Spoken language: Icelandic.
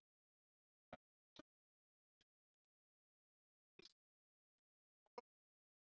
Hann er ótrúlega snöggur, með mjög góðan vinstri fót og getur skorað mörk.